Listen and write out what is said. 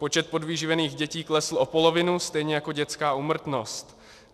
Počet podvyživených dětí klesl o polovinu stejně jako dětská úmrtnost.